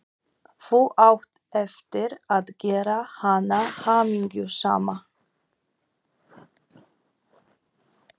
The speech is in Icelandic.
Þú átt eftir að gera hana hamingjusama.